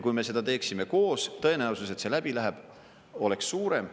Kui me seda teeksime koos, tõenäosus, et see läbi läheb, oleks suurem.